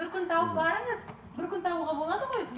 бір күн тауып барыңыз бір күн табуға болады ғой